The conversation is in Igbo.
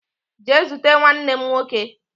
Jee zute nwannem nwoke